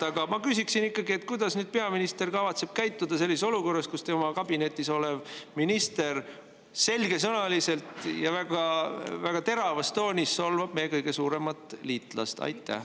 Aga ma ikkagi küsiksin: kuidas nüüd peaminister kavatseb käituda sellises olukorras, kus tema enda kabineti minister selgesõnaliselt ja väga-väga teravas toonis solvab meie kõige suuremat liitlast?